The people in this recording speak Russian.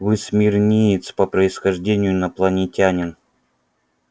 вы смирниец по происхождению инопланетянин